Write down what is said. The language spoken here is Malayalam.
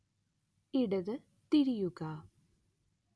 ഇടത് തിരിയുക